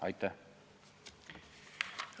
Aitäh!